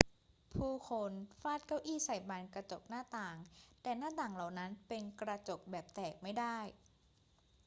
ผู้คนฟาดเก้าอี้ใส่บานกระจกหน้าต่าง แต่หน้าต่างเหล่านั้นเป็นกระจกแบบแตกไม่ได้